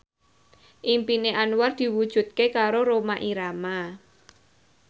impine Anwar diwujudke karo Rhoma Irama